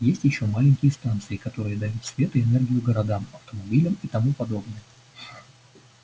есть ещё маленькие станции которые дают свет и энергию городам автомобилям и тому подобное